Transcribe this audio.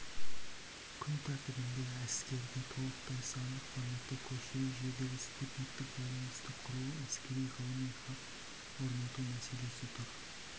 күн тәртібінде әскерді толықтай сандық форматқа көшіру жердегі спутниктік байланысты құру әскери-ғылыми хаб орнату мәселесі тұр